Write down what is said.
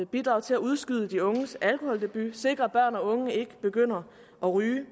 bidrage til at udskyde de unges alkoholdebut for at sikre at børn og unge ikke begynder at ryge